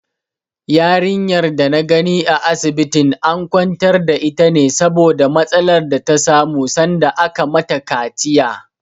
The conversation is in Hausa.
Yarinyar da na gani a asibitin an kwantar da ita ne saboda matsalar da ta samu sanda aka mata kaciya.